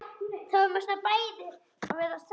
Þetta ber svo brátt að.